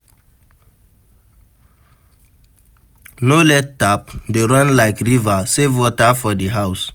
No let tap dey run like river, save water for house